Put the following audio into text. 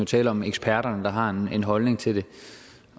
tale om eksperterne der har en holdning til det